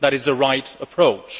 That is the right approach.